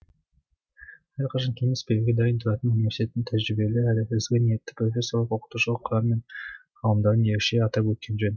әрқашан кеңес беруге дайын тұратын университеттің тәжірибелі әрі ізгі ниетті профессорлық оқытушылық құрам мен ғалымдарын ерекше атап өткен жөн